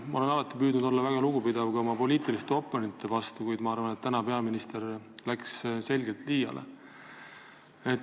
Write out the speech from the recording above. Ma olen alati püüdnud olla väga lugupidav ka oma poliitiliste oponentide vastu, kuid ma arvan, et täna läks peaminister selgelt liiale.